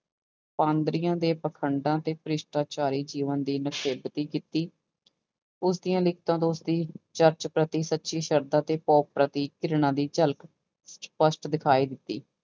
ਪਾਧਰੀਆਂ ਦੇ ਪਾਖੰਡਾਂ ਤੇ ਭਰਿਸ਼ਟਾਚਾਰੀ ਜੀਵਨ ਦੀ ਨਿਖੇਧਕੀ ਕੀਤੀ, ਉਸਦੀਆਂ ਲਿਖਤਾਂ ਤੋਂ ਉਸਦੀ ਚਰਚ ਪ੍ਰਤੀ ਸੱਚੀ ਸਰਧਾ ਤੇ ਪ੍ਰਤੀ ਘਿਰਣਾ ਦੀ ਝਲਕ ਸਪਸ਼ਟ ਦਿਖਾਈ ਦਿੱਤੀ।